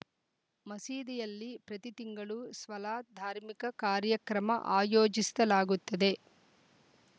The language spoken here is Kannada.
ಮಸೀದಿಯಲ್ಲಿ ಪ್ರತಿ ತಿಂಗಳು ಸ್ವಲಾತ್‌ ಧಾರ್ಮಿಕ ಕಾರ್ಯಕ್ರಮ ಆಯೋಜಿಸ್ತಿಲಾಗುತ್ತದೆ